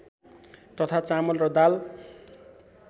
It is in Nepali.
तथा चामल र दाल